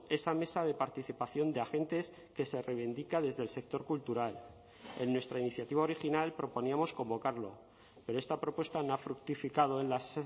esa mesa de participación de agentes que se reivindica desde el sector cultural en nuestra iniciativa original proponíamos convocarlo pero esta propuesta no ha fructificado en las